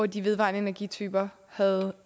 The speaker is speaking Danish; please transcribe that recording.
de vedvarende energityper havde